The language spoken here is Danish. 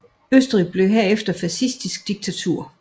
Østrig blev herefter et fascistisk diktatur